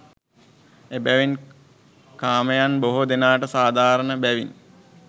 එබැවින් කාමයන් බොහෝ දෙනාට සාධාරණ බැවින්